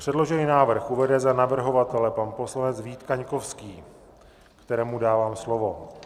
Předložený návrh uvede za navrhovatele pan poslanec Vít Kaňkovský, kterému dávám slovo.